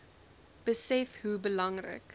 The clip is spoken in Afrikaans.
besef hoe belangrik